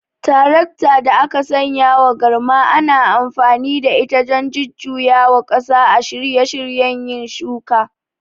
Tarakta da aka sanyawa garma ana amfani da ita don jujjuyawa ƙasa a shirye shiryen yin shuka.